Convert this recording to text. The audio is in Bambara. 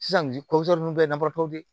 Sisan bi ko ninnu bɛɛ ye namaratɔw ye